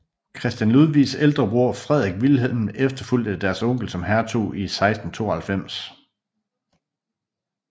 Christian Ludvigs ældre bror Frederik Vilhelm efterfulgte deres onkel som hertug i 1692